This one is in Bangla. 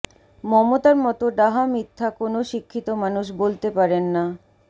মমতার মতো ডাহা মিথ্যা কোনও শিক্ষিত মানুষ বলতে পারেন না